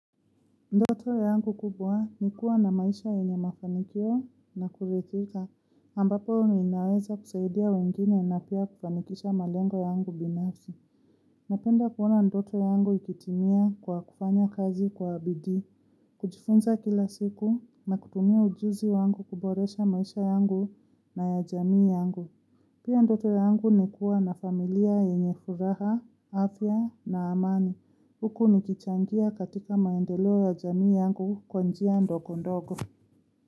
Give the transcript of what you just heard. Ndoto yangu kubwa ni kuwa na maisha yenye mafanikio na kuridhika ambapo ninaweza kusaidia wengine na pia kufanikisha malengo yangu binafsi Napenda kuona ndoto yangu ikitimia kwa kufanya kazi kwa bidii kujifunza kila siku na kutumia ujuzi wangu kuboresha maisha yangu na ya jamii yangu. Pia ndoto yangu ni kuwa na familia yenye furaha, afya na amani. Huku nikichangia katika maendelo ya jamii yangu kwa njia ndogo ndogo.